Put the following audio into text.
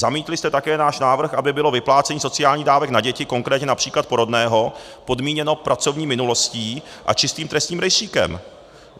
Zamítli jste také náš návrh, aby bylo vyplácení sociálních dávek na děti, konkrétně například porodného, podmíněno pracovní minulostí a čistým trestním rejstříkem.